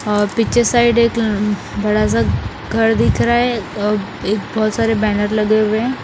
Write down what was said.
और पीछे साइड एक म बड़ा सा घर दिख रहा हैं एक बहुत सारे बैनर लगे हुए हैं ।